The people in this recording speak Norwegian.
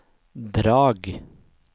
Drag